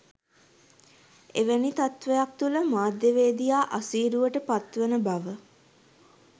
එවැනි තත්ත්වයක් තුළ මාධ්‍යවේදියා අසීරුවට පත්වන බව